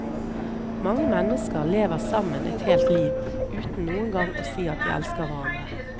Mange mennesker lever sammen et helt liv uten noengang å si at de elsker hverandre.